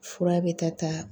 Fura bɛ ka ta